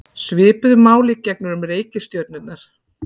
Svipuðu máli gegnir um reikistjörnurnar.